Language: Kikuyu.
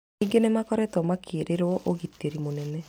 Ningĩ nĩmakoragwo mekĩrĩirwo ũgitĩri mũnene